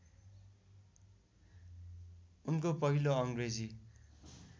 उनको पहिलो अङ्ग्रेजी